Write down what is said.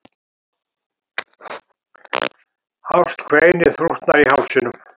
Hást kveinið þrútnar í hálsinum.